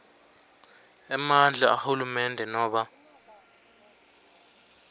emandla ahulumende nobe